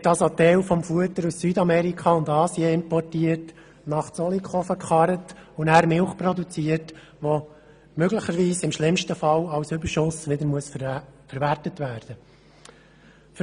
Ein Teil des Futters wird also aus Südamerika und Asien importiert, nach Zollikofen «gekarrt», und danach wird Milch produziert, die im schlimmsten Fall als Überschuss wieder verwertet werden muss.